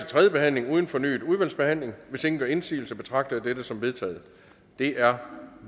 tredje behandling uden fornyet udvalgsbehandling hvis ingen gør indsigelse betragter jeg dette som vedtaget det er